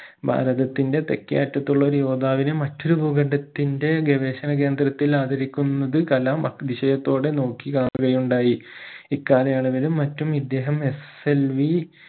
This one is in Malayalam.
ഭാരതത്തിന്റെ തെക്കേ അറ്റത്തുള്ള ഒരു യോദ്ധാവിനെ മറ്റൊരു ഭൂഖണ്ഡത്തിന്റെ ഗവേഷണ കേന്ദ്രത്തിൽ ആദരിക്കുന്നത് കലാം അതിശയത്തോടെ നോക്കി കാണുകയുണ്ടായി ഇക്കാലയളവിലും മറ്റും ഇദ്ദേഹം SLV